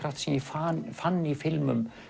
sem ég fann fann í filmum